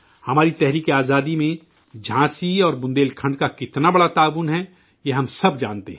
ہماری جنگ آزادی میں جھانسی اور بندیل کھنڈ کا کتنا بڑا تعاون ہے یہ ہم سب جانتے ہیں